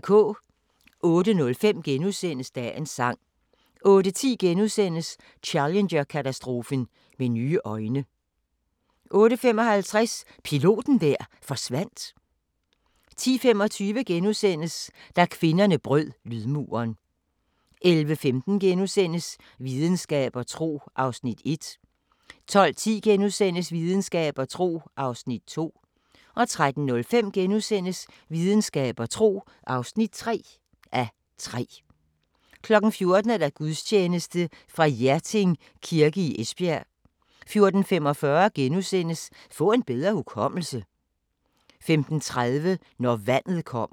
08:05: Dagens sang * 08:10: Challenger-katastrofen med nye øjne * 08:55: Piloten der forsvandt 10:25: Da kvinderne brød lydmuren * 11:15: Videnskab og tro (1:3)* 12:10: Videnskab og tro (2:3)* 13:05: Videnskab og tro (3:3)* 14:00: Gudstjeneste fra Hjerting Kirke i Esbjerg 14:45: Få en bedre hukommelse! * 15:30: Når vandet kommer